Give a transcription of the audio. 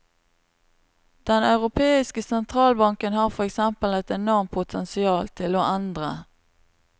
Den europeiske sentralbanken har for eksempel et enormt potensial til å endre.